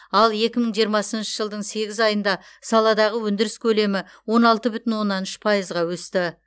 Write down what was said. ал екі мың жиырмасыншы жылдың сегіз айында саладағы өндіріс көлемі он алты бүтін оннан үш пайызға өсті